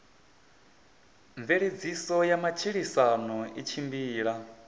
mveledziso ya matshilisano i tshimbila